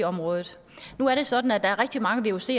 området nu er det sådan at der er rigtig mange vucer